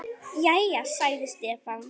Jæja, sagði Stefán.